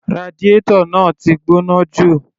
Radiator náà ti gbóná jù.